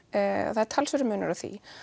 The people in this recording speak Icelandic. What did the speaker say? það er talsverður munur á því